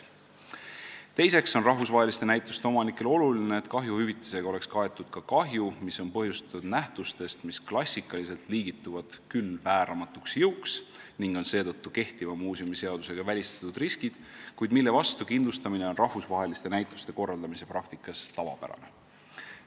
Teiseks on rahvusvaheliste näituste omanikele oluline, et kahjuhüvitisega oleks kaetud ka kahju, mis on põhjustatud nähtustest, mis klassikaliselt liigituvad küll vääramatuks jõuks ning on seetõttu kehtiva muuseumiseadusega välistatud riskid, kuid mille vastu kindlustamine on rahvusvaheliste näituste korraldamise praktikas tavapärane.